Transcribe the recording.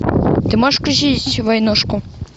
ты можешь включить войнушку